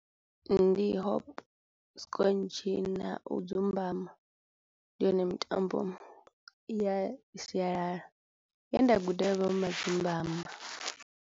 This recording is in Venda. Ndi hop scotch na u dzumbama, ndi yone mitambo ya sialala ye nda guda .